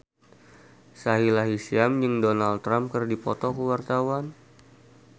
Sahila Hisyam jeung Donald Trump keur dipoto ku wartawan